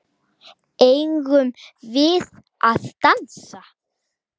Eigum við að dansa?